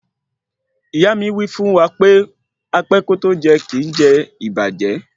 Ìyá mi wí fún wa pé apẹ́ kótó jẹun kìí jẹ ìbàjẹ́